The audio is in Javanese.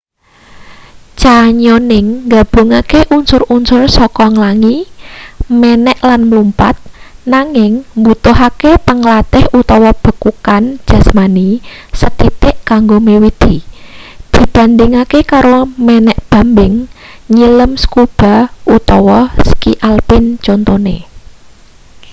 canyoning nggabungake unsur-unsur saka nglangi menek lan mlumpat--nanging mbutuhake panglantih utawa bekukan jasmani sethithik kanggo miwiti dibandhingake karo menek bambing nyilem scuba utawa ski alpin contone